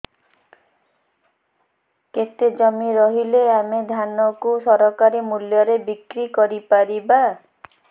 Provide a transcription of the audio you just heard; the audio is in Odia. କେତେ ଜମି ରହିଲେ ଆମେ ଧାନ କୁ ସରକାରୀ ମୂଲ୍ଯରେ ବିକ୍ରି କରିପାରିବା